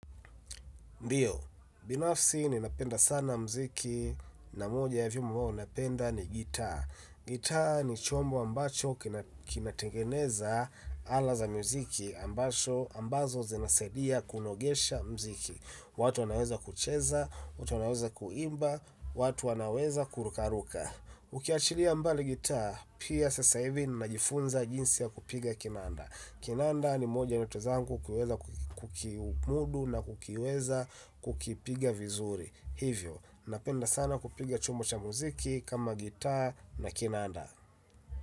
Ndiyo, binafsi ninapenda sana muziki na moja ya vyombo ambavyo ninapenda ni gita. Gita ni chombo ambacho kinatengeneza ala za muziki ambazo zinasaidia kunogesha muziki. Watu wanaweza kucheza, watu wanaweza kuimba, watu wanaweza kurukaruka. Ukiachilia mbali gita, pia sasa hivi najifunza jinsi ya kupiga kinanda. Kinanda ni moja ya ndoto zangu kukiweza kukiumudu na kukiweza kukipiga vizuri hivyo, napenda sana kupiga chumbo cha muziki kama gita na kinanda.